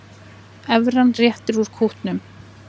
Evran réttir út kútnum